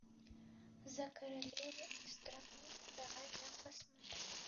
за королеву и страну давай я посмотрю